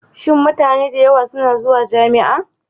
Shin mutane da yawa suna zuwa jami'a?